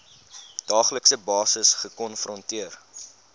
daaglikse basis gekonfronteer